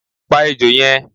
Pá ejò yẹn!